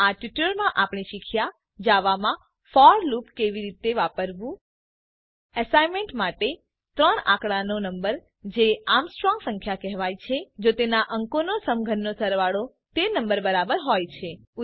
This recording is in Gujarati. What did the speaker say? આ ટ્યુટોરીયલમાં આપણે શીખ્યા જાવામાં ફોર લુપ કેવી રીતે વાપરવું એસાઈનમેન્ટ માટે ત્રણ આંકડાનો નંબર જે આર્મસ્ટ્રોંગ સંખ્યા કહેવામાં આવે છે જો તેના અંકોના સમઘનનો સરવાળો તે નંબર બરાબર હોય છે